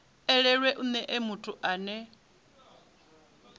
elelwe u nea muthu ane